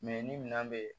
ni minɛn be yen